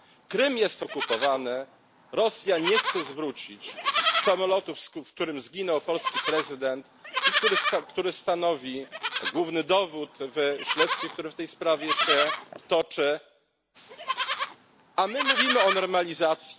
Krym jest okupowany, Rosja nie chce zwrócić samolotu, w którym zginął polski prezydent i który stanowi główny dowód w śledztwie, które w tej sprawie się toczy, a my mówimy o normalizacji?